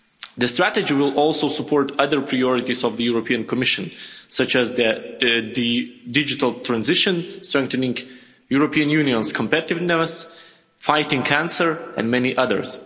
The strategy will also support other priorities of the European Commission, such as the digital transition strengthening the European Union's competitiveness, fighting cancer, and many others.